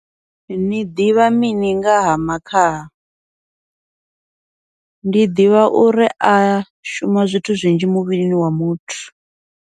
Ni ḓivha mini ngaha makhaha, ndi ḓivha uri a shuma zwithu zwinzhi muvhilini wa muthu.